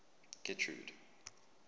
getrude